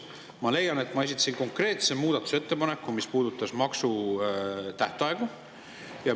Ma leian, et ma esitasin konkreetse muudatusettepaneku, mis puudutas maksutähtaegu.